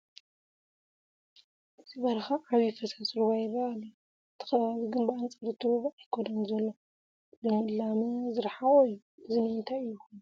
በዚ በረኻ ዓብዪ ፈሳሲ ሩባ ይርአ ኣላ፡፡ እቲ ከባቢ ግን ብኣንፃር እቲ ሩባ ኣይኮነን ዘሎ፡፡ ልምላመ ዝርሓቖ እዩ፡፡ እዚ ንምንታይ ኮይኑ?